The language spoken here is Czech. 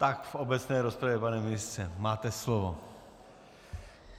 Tak v obecné rozpravě, pan ministře, máte slovo.